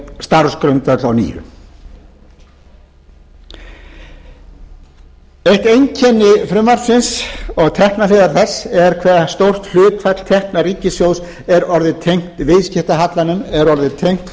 starfsgrundvöll að nýju eitt einkenni frumvarpsins og tekjuhliðar þess er hve stórt hlutfall tekna ríkissjóðs er orðið tengt viðskiptahallanum er orðið tengt